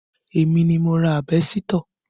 Èmi ni mo ra àbẹ́sítọ̀